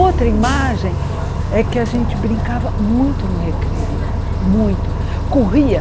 Outra imagem é que a gente brincava muito no recreio, muito, corria.